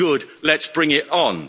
Good let's bring it on.